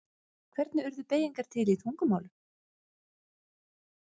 Hvernig urðu beygingar til í tungumálum?